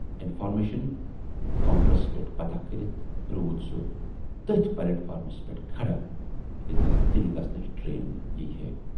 Information counters پٮ۪ٹھ پتاہ کٔرِتھ روٗد سُہ تٔتھۍ پلیٹ فارمس پٮ۪ٹھ کھڑا ییتٮ۪ن دِلہٕ گَژھنٕچ ٹرین یِیہِ ہے۔